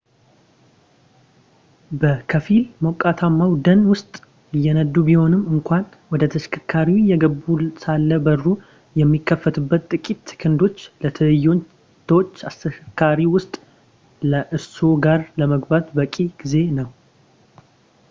በከፊል ሞቃታማው ደን ውስጥ እየነዱ ቢሆንም እንኳን ወደ ተሽከርካሪው እየገቡ ሳለ በሩ የሚከፈትበት ጥቂት ሴኮንዶች ለትንኞች ተሽከርካሪው ውስጥ ከእርስዎ ጋር ለመግባት በቂ ጊዜ ነው